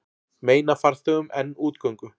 Meina farþegum enn útgöngu